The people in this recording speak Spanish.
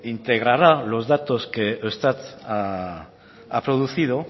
integrará los datos que eustat ha producido